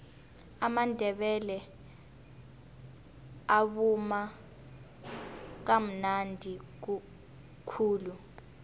amandebele avuma kamnadi khulu